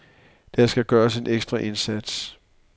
Der skal gøres en ekstra indsats.